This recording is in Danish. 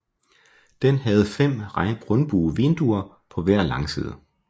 Den havde 5 rundbuede vinduer på hver langside